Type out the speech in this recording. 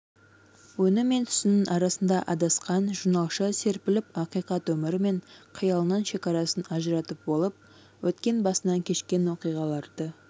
өңі мен түсінің арасында адасқан журналшы серпіліп ақиқат өмірі мен қиялының шекарасын ажыратып болып өткен басынан кешкен оқиғаларды